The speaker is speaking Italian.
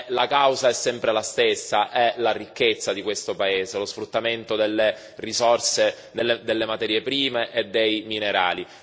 La causa è sempre la stessa, è la ricchezza di questo paese, lo sfruttamento delle risorse, delle materie prime e dei minerali.